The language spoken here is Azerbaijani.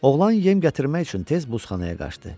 Oğlan yem gətirmək üçün tez buzxanaya qaçdı.